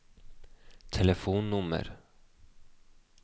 telefonnummer